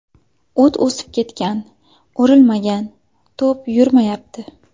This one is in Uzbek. O‘t o‘sib ketgan, o‘rilmagan, to‘p yurmayapti.